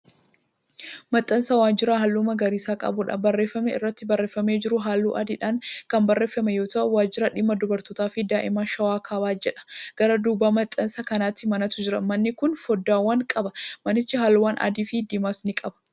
Maxxansa waajjiraa halluu magariisa qabuudha. barreeffamni irratti barreeffamee jiru halluu adiidhaan Kan barreeffame yoo ta'u,"wajjira dhimma dubartootaafi daa'imman shawaa kaabaa"jedha. gara dudduuba maxxansa kanaatti manatu jira. manni Kuni foddaawwan qaba. manichi halluuwwan adiifi diimaas ni qaba.